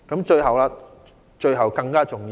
最後一點更重要。